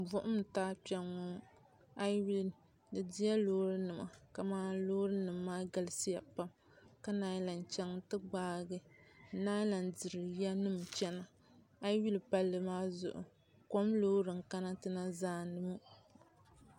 Buɣum n-taal Kpɛŋɔ ayi yuli di dila loorinima kamani loorinima ma galisiya pam ka naan lan chaŋ nti gbaagi n-naan lan diri yanima chana ayi yuli palli maa zuɣu kom loori n-kana ti na zaani ŋɔ.